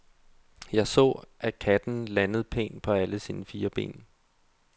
Jeg så, at katten landede pænt på alle sine fire ben.